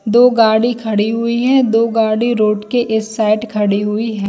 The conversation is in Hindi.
दो गाड़ी खड़ी हुई है दो गाड़ी रोड के इस साइड खड़ी हुई है।